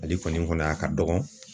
Ale kɔni kɔni a ka dɔgɔ,